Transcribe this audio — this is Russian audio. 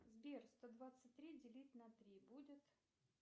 сбер сто двадцать три делить на три будет